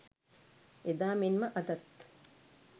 එදා මෙන්ම අදත්